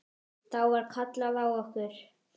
Þá var kallað á okkur.